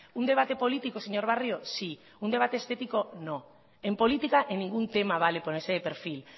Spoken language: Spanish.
un debate político señor barrio sí un debate estético no en política en ningún tema vale ponerse de perfil